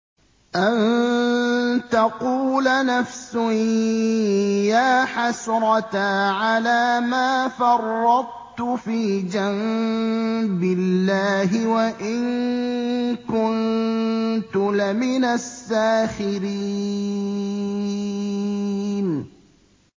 أَن تَقُولَ نَفْسٌ يَا حَسْرَتَا عَلَىٰ مَا فَرَّطتُ فِي جَنبِ اللَّهِ وَإِن كُنتُ لَمِنَ السَّاخِرِينَ